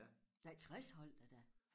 Nej 60 holdt jeg da